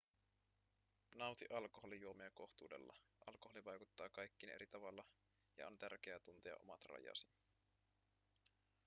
nauti alkoholijuomia kohtuudella alkoholi vaikuttaa kaikkiin eri tavalla ja on tärkeää tuntea omat rajasi